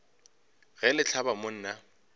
ge le hlaba mo nna